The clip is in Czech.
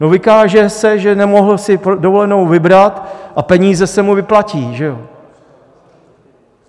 No, vykáže se, že si nemohl dovolenou vybrat, a peníze se mu vyplatí, že jo?